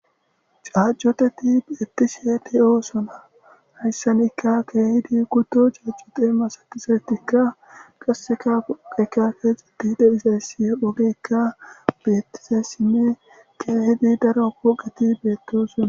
Caccuteti bettishe de'osona hayssanikka kehidi kutto caccute masatizauisatika qasekka pude kexxetishe de'izaysika oggeyikka betizayisine kehiddi daro phoqqeti bettosona.